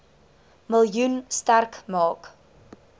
miljoen sterk maak